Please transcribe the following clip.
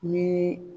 Ni